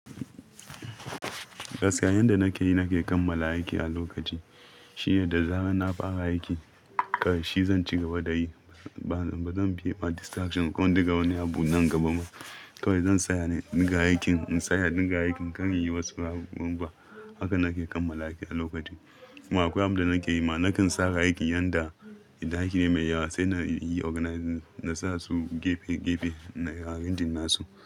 Gaskiya yanda nake yi, nake kammala aiki a lokaci shine da zarar na fara aiki, ƙarshe zan cigaba da yi. Ba zan bi distraction ko duka wani abu nan gaba ba. To zan tsaya daga aikin, in tsaya daga aikin kan yi wasu ɓaɓɓanba. Haka nake kammala aiki a lokaci. Kuma akwai abu da nake yi ma, nakan sanya aiki yanda idan aiki ne mai yawa sai na yi organizing, na sa su gefe gefe na arranging nasu.